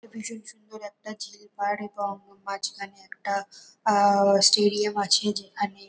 ভীষণ সুন্দর একটা ঝিলপার এবং মাঝখানে একটা আহহ স্টেডিয়াম আছে। যেখানে --